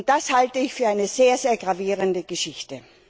Das halte ich für eine sehr gravierende Geschichte.